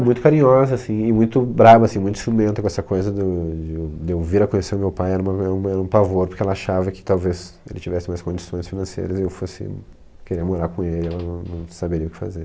E muito carinhosa, assim, e muito brava, assim, muito ciumenta com essa coisa do de o eu vir a conhecer o meu pai era um pavor, porque ela achava que talvez ele tivesse mais condições financeiras e eu fosse querer morar com ele, ela não saberia o que fazer.